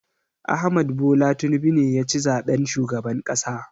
Ahmad Bola Tinubu ne ya ci zaɓen shugaban ƙasa.